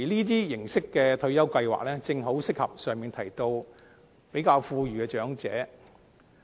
這種形式的退休計劃，正好適合比較富裕的長者。